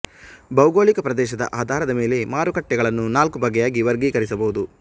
ಭೌಗೋಳಿಕ ಪ್ರದೇಶದ ಆಧಾರದ ಮೇಲೆ ಮಾರುಕಟ್ಟೆಗಳನ್ನು ನಾಲ್ಕು ಬಗೆಯಾಗಿ ವರ್ಗೀಕರಿಸಬಹುದು